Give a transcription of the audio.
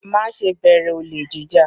Má ṣe bẹ̀rẹ̀ olè jí jà!